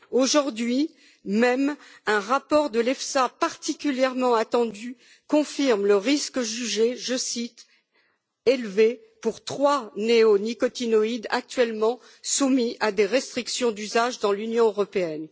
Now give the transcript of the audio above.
Aujourd'hui même, un rapport de l'EFSA particulièrement attendu confirme le risque jugé je cite élevé pour trois néonicotinoïdes actuellement soumis à des restrictions d'usage dans l'Union européenne.